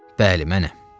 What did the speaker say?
Bəli, mənəm.